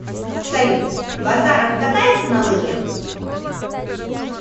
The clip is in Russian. салют базаров катается на лыжах